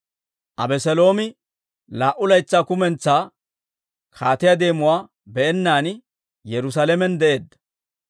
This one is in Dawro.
Abeseeloomi laa"u laytsaa kumentsaa kaatiyaa deemuwaa be'ennaan Yerusaalamen de'eedda.